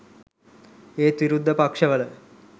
ඒත් විරුද්ධ පක්ෂවල